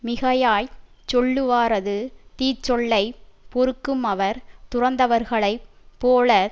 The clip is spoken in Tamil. மிகையாய்ச் சொல்லுவாரது தீச்சொல்லைப் பொறுக்குமவர் துறந்தவர்களைப் போல